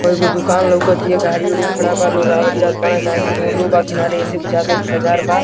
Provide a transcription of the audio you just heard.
कई गो दुकान लउकत हिय गाडी उड़ी खड़ा बा| लोग आवत जात बाड़े काहे की रोडो बा किनारे एसे बुझाता की बाज़ार बा।